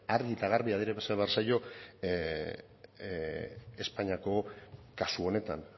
argi eta garbi adierazi behar zaio espainiako kasu honetan